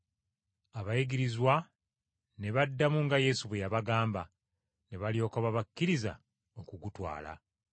Abayigirizwa ne baddamu nga Yesu bwe yabagamba, ne balyoka babakkiriza okugutwala.